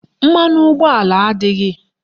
Mmanụ ụgbọala adịghị